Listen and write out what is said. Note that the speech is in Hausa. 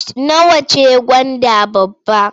Nawa ce gwanda babba?